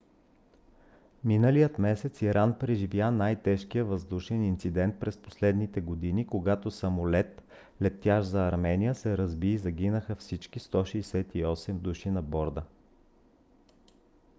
миналия месец иран преживя най-тежкия въздушен инцидент през последните години когато самолет летящ за армения се разби и загинаха всички 168 души на борда